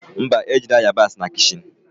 Mba, ejila yabasị na kichin